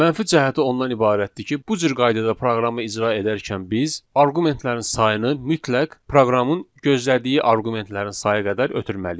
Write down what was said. Mənfi cəhəti ondan ibarətdir ki, bu cür qaydada proqramı icra edərkən biz arqumentlərin sayını mütləq proqramın gözlədiyi arqumentlərin sayı qədər ötürməliyik.